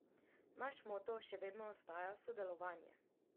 Naš moto še vedno ostaja sodelovanje.